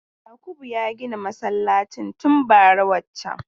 Yakubu ya gina masallacin tun bara wancan.